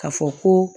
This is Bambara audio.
Ka fɔ ko